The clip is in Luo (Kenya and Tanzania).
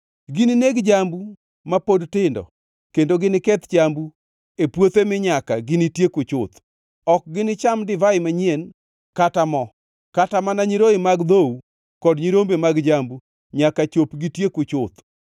Ginineg jambu ma pod tindo kendo giniketh chambu e puothe mi nyaka ginitieku chuth. Ok ginicham, divai manyien kata mo, kata mana nyiroye mag dhou kod nyirombe mag jambu nyaka chop gitieku chuth.